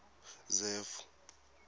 zefu